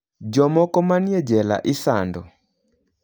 Jomoko manie jela isando.